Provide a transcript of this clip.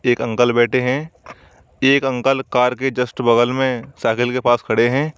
एक अंकल बैठे हैं एक अंकल कार के जस्ट बगल में साइकिल के पास खड़े हैं।